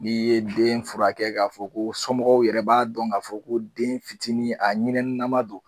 N'i ye den furakɛ k'a fɔ ko somɔgɔw yɛrɛ b'a dɔn k'a fɔ ko den fitinin a ɲinɛninama don